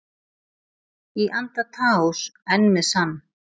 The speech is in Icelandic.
Í anda Taós enn með sann